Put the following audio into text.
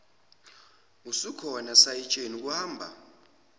usukhona sayitsheni kuhamba